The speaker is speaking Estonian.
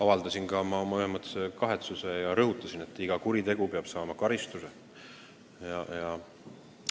Ma sain aru, et puhkenud poleemika on rulluma hakanud, kuna minu rõhuasetusest on valesti aru saadud.